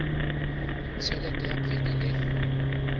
t helete ya kgwedi le